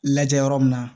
Lajɛ yɔrɔ min na